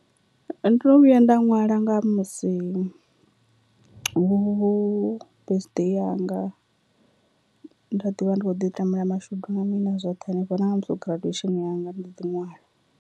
Ndo no vhuya nda ṅwala nga musi hu birthday yanga, nda ḓivha ndi kho ḓi tamela mashudu na mini zwoṱhe henefho na nga musi ho graduation yanga ndo ḓi ṅwala.